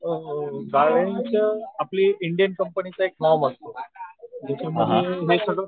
अ गाड्यांचं आपल्या इंडियन कंपन्यांचं एक नाव असतं.